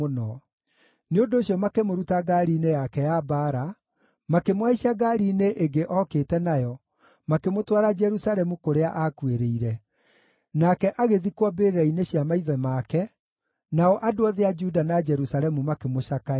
Nĩ ũndũ ũcio makĩmũruta ngaari-inĩ yake ya mbaara, makĩmũhaicia ngaari-inĩ ĩngĩ okĩte nayo, makĩmũtwara Jerusalemu kũrĩa aakuĩrĩire. Nake agĩthikwo mbĩrĩra-inĩ cia maithe make, nao andũ othe a Juda na Jerusalemu makĩmũcakaĩra.